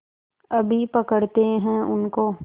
अभी पकड़ते हैं उनको